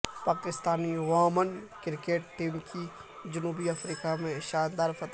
Pakistani women cricket team کی جنوبی افریقہ میں شاندار فتح